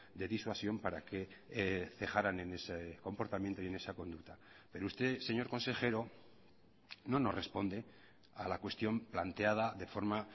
de disuasión para que dejarán en ese comportamiento y en esa conducta pero usted señor consejero no nos responde a la cuestión planteada de forma